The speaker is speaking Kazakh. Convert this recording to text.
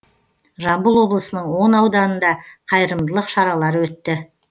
жамбыл облысының он ауданында қайырымдылық шаралары өтті